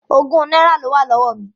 Ogún náírà ló wà lọ́wọ́ mi.